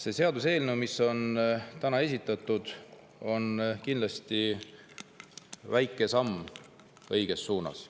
See seaduseelnõu, mida täna, on kindlasti väike samm õiges suunas.